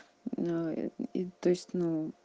аа и то есть нуу